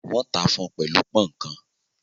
Wọ́n tà fun pẹ̀lú pọ̀n-ọ́n kan